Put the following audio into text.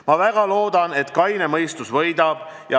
Ma väga loodan, et kaine mõistus võidab.